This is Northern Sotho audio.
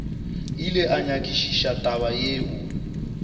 ile a nyakišiša taba yeo